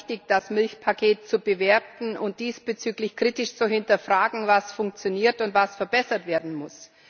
Es war richtig, das Milchpaket zu bewerten und diesbezüglich kritisch zu hinterfragen, was funktioniert und was verbessert werden muss.